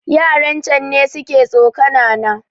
Yaran can ne suka tsokana na